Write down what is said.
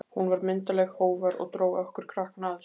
Hún var myndarleg, hógvær og dró okkur krakkana að sér.